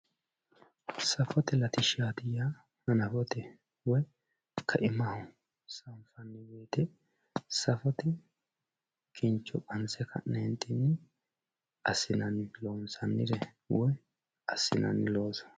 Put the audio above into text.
safote latishshaati yaa hanafote woyi kaimaho sanfanni wote safote kincho qanse ka'neentinni assinanni loonsannire woyi assinanni looso .